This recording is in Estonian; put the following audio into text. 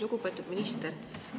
Lugupeetud minister!